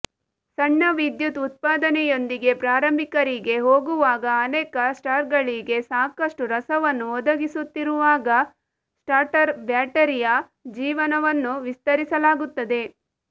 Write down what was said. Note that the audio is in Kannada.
ಸಣ್ಣ ವಿದ್ಯುತ್ ಉತ್ಪಾದನೆಯೊಂದಿಗೆ ಪ್ರಾರಂಭಿಕರಿಗೆ ಹೋಗುವಾಗ ಅನೇಕ ಸ್ಟಾರ್ಗಳಿಗೆ ಸಾಕಷ್ಟು ರಸವನ್ನು ಒದಗಿಸುತ್ತಿರುವಾಗ ಸ್ಟಾರ್ಟರ್ ಬ್ಯಾಟರಿಯ ಜೀವನವನ್ನು ವಿಸ್ತರಿಸಲಾಗುತ್ತದೆ